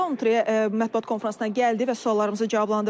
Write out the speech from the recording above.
Roundtree mətbuat konfransına gəldi və suallarımızı cavablandırdı.